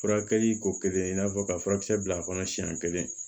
Furakɛli ko kelen in n'a fɔ ka furakisɛ bila a kɔnɔ siɲɛn kelen